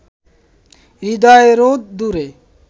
হৃদয়-রোদ দূরে